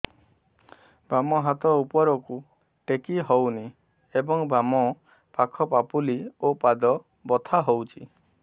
ବାମ ହାତ ଉପରକୁ ଟେକି ହଉନି ଏବଂ ବାମ ପାଖ ପାପୁଲି ଓ ପାଦ ବଥା ହଉଚି